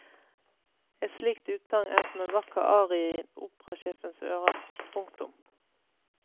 Et slikt utsagn er som en vakker arie i operasjefens ører. punktum